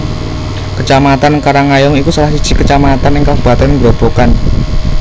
Kecamatan Karangayung iku salah siji kecamatan ing kabupaten Grobogan